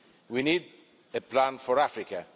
We need a plan for Africa.